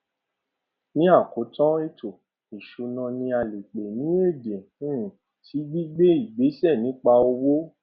ni àkótán ètò ìsúná ni a lè pè ní èdè um sí gbígbé ìgbésẹ nípa owó